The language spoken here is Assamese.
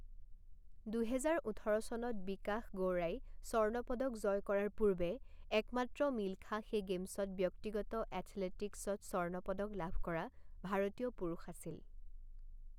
দুহেজাৰ ওঠৰ চনত বিকাশ গৌড়াই স্বৰ্ণ পদক জয় কৰাৰ পূৰ্বে একমাত্ৰ মিলখা সেই গেমছত ব্যক্তিগত এথলেটিকছত স্বৰ্ণ পদক লাভ কৰা ভাৰতীয় পুৰুষ আছিল।